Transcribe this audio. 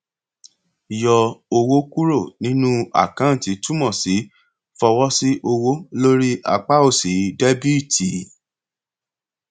lẹyìn tí ó fojú kàn ètò ìfowósílẹ jibítì ó bẹrẹ kìlọ fún àwọn ọrẹ nípa àmì ìkìlọ